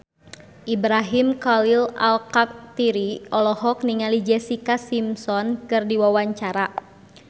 Ibrahim Khalil Alkatiri olohok ningali Jessica Simpson keur diwawancara